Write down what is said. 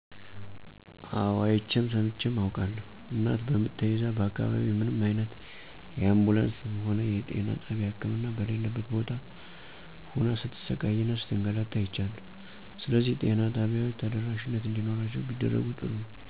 አወ አይቼም ሰምቼም አውቃለሁ። እናት በምጥ ተይዛ በአካባቢው ምንም አይነት የአንቡንስም ሆነ የጤና ጣቢያ ህክምና በሌለበት ቦታ ሁና ስትሰቃይ እና ስትንገላታ አይቻለሁ። ስለዚህ ጤና ጣቢያዎች ተደራሽነት እንዲኖራቸው ቢደረግ ጥሩ ነው።